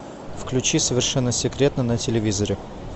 включи совершенно секретно на телевизоре